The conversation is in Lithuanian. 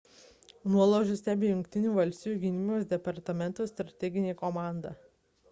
nuolaužas stebi jungtinių valstijų gynybos departamento strateginė komanda